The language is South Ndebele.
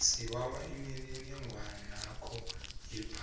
sibawa imininingwanakho yebhanga